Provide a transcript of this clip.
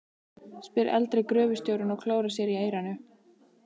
spyr eldri gröfustjórinn og klórar sér í eyranu.